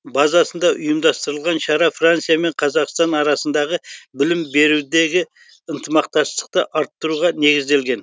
базасында ұйымдастырылған шара франция мен қазақстан арасындағы білім берудегі ынтымақтастықты арттыруға негізделген